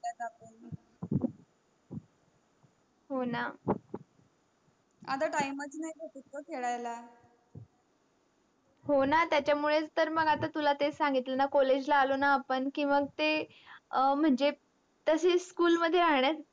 हो ना आता टाइमच नाही भेटत ग खेडायला हो ना त्याचमुडे तर तुला तेच सांगितल न college ला आलो न आपण कि मग ते अ मन्झे तसेच school मध्ये राहण्यात.